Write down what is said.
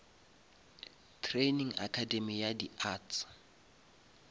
training academay ya di arts